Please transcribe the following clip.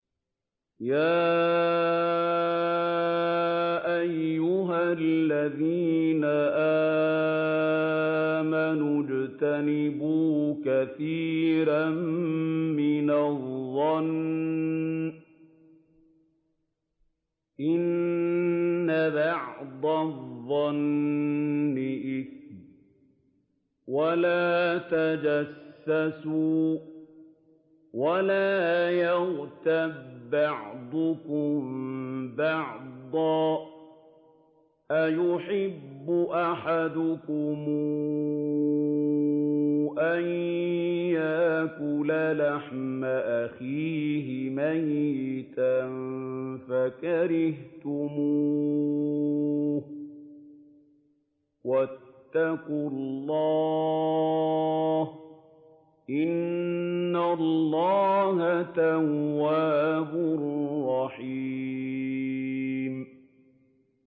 يَا أَيُّهَا الَّذِينَ آمَنُوا اجْتَنِبُوا كَثِيرًا مِّنَ الظَّنِّ إِنَّ بَعْضَ الظَّنِّ إِثْمٌ ۖ وَلَا تَجَسَّسُوا وَلَا يَغْتَب بَّعْضُكُم بَعْضًا ۚ أَيُحِبُّ أَحَدُكُمْ أَن يَأْكُلَ لَحْمَ أَخِيهِ مَيْتًا فَكَرِهْتُمُوهُ ۚ وَاتَّقُوا اللَّهَ ۚ إِنَّ اللَّهَ تَوَّابٌ رَّحِيمٌ